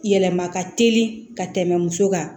Yɛlɛma ka teli ka tɛmɛ muso kan